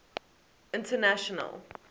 international